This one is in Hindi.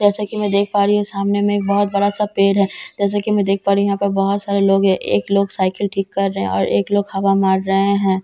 जैसा की मैं देख पा रही हूँ सामने में एक बहुत बड़ा सा पेड़ है जैसा की मैं देख पा रही हूँ यहाँ पर बहुत सारे लोग है एक लोग साइकल ठीक कर रहे है और एक लोग हवा मार रहे है ।